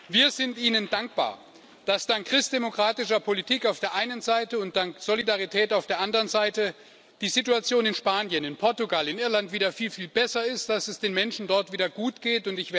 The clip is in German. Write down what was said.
Wir sind Ihnen dankbar, dass dank christdemokratischer Politik auf der einen Seite und dank Solidarität auf der anderen Seite die Situation in Spanien, in Portugal und in Irland wieder viel, viel besser ist, dass es den Menschen dort wieder gut geht.